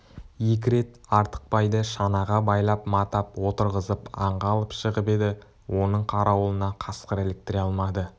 екі рет артықбайды шанаға байлап-матап отырғызып аңға алып шығып еді оның қарауылына қасқыр іліктіре алмады